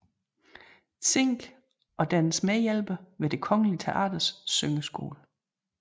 Zinck og dennes medhjælper ved Det Kongelige Teaters syngeskole